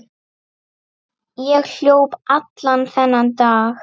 Ég hljóp allan þennan dag.